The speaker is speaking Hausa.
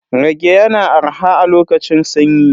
Rage yana arha a lokacin sanyi.